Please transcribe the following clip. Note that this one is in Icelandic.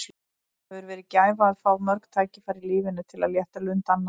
Það hefur verið gæfa að fá mörg tækifæri í lífinu til að létta lund annarra.